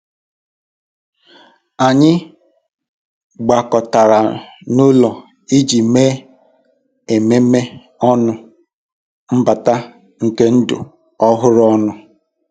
Anyị gbakọtara n'ụlọ iji mee ememe ọnụ mbata nke ndụ ọhụrụ ọnụ.